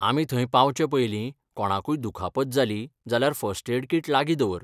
आमी थंय पावचे पयलीं कोणाकूय दुखापत जाली जाल्यार फर्स्ट एड कीट लागीं दवर.